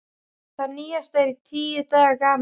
Það nýjasta er tíu daga gamalt.